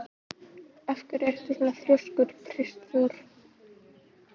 Þá varð landskjálfti við Flatey.